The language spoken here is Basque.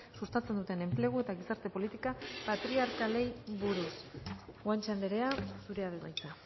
sustatzen duten enplegu eta gizarte politika patriarkalei buruz guanche andrea zurea da hitza